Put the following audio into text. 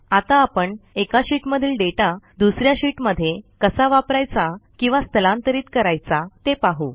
आता एका शीटमधील दाता दुस या शीटमध्ये कसा वापरायचा किंवा स्थलांतरीत करायचा ते आपण पाहू